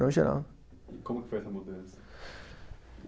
Barão Geraldo. E como que foi essa mudança?